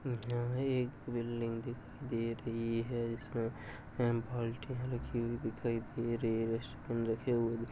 यहाँ एक बिल्डिंग दिखाई दे रही है इसमें अँ बाल्टियां रखी हुई दिखाई दे रही है। डस्टबिन रखे हुए --